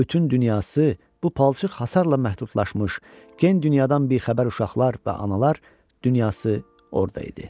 Bütün dünyası bu palçıq hasarla məhdudlaşmış, gen dünyadan bixəbər uşaqlar və analar dünyası orda idi.